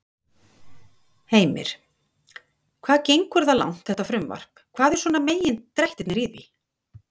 Heimir: Hvað gengur það langt, þetta frumvarp, hvað er svona megindrættirnir í því?